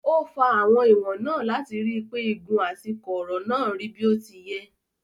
Ó fa ìwọ̀n náà láti rí pé igun àti kọ̀ọ̀rọ̀ náà rí bí ó ti yẹ.